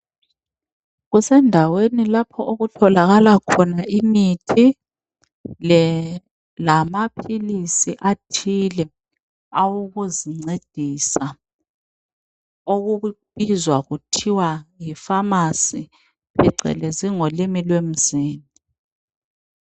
Kusendaweni lapho okutholakala khona imithi lamaphilisi athile awokuzincedisa .Okubizwa kuthiwa yipharmacy phecelezi ngolimi lwemzini .